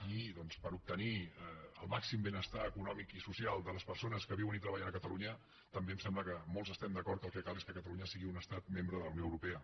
i doncs per obtenir el màxim benestar econòmic i social de les persones que viuen i treballen a catalunya també em sembla que molts estem d’acord que el que cal és que catalunya sigui un estat membre de la unió europea